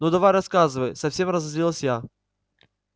ну давай рассказывай совсем разозлилась я